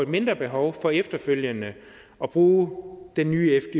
mindre behov for efterfølgende at bruge den nye